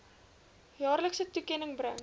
jaarlikse toekenning bring